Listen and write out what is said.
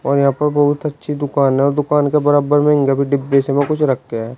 और यहां पर बहुत अच्छी दुकान है और दुकान के बराबर में डिब्बे से में कुछ रखे है।